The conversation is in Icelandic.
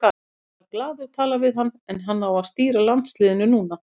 Ég skal glaður tala við hann en hann á að stýra landsliðinu núna.